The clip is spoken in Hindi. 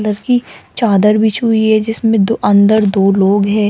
लड़की चादर बिछी हुई है जिसमें दो अंदर दो लोग हैं।